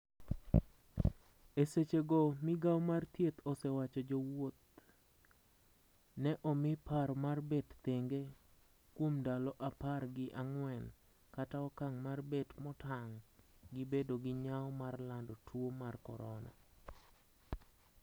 e seche go migao mar thieth osewacho jo wouth ne omi paro mar bet thenge kuom ndalo apar gi ang'wen kata okang' mar bet motang' gi bedo gi nyao mar lando tuo mar corona